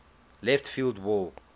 left field wall